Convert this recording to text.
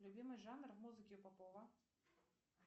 любимый жанр музыки попова